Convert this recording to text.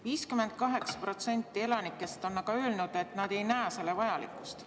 58% elanikest on aga öelnud, et nad ei näe selle vajalikkust.